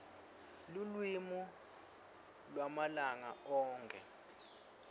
lulwimi lwamalanga onkhe